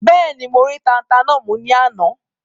Bẹ́ẹ̀ni, mo rí tata náà mú ní àná?